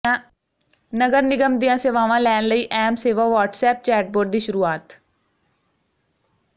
ਨਗਰ ਨਿਗਮ ਦੀਆਂ ਸੇਵਾਵਾਂ ਲੈਣ ਲਈ ਐਮਸੇਵਾ ਵ੍ਹਾਟਸਐਪ ਚੈਟਬੋਟ ਦੀ ਸ਼ੁਰੂਆਤ